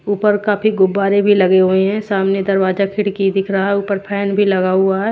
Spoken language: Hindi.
ऊपर काफी गुब्बारे भी लगे हुए हैं सामने दरवाजा खिड़की दिख रहा है ऊपर फैन भी लगा हुआ है।